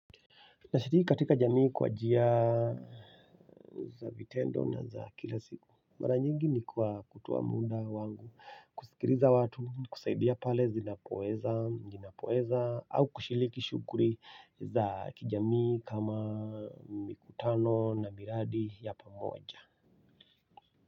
Nashiriki katika jamii kwa njia za vitendo na za kila siku. Mara nyingi ni kwa kutoa muda wangu kusikiliza watu kusaidia pale zinapoweza ninapoweza au kushiriki shughuli za kijamii kama mikutano na miradi ya pamoja.